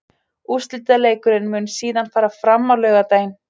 Úrslitaleikurinn mun síðan fara fram á laugardaginn.